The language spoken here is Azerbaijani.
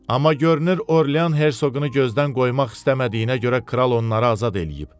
Amma görünür Orlean Hersoqunu gözdən qoymaq istəmədiyinə görə kral onları azad eləyib.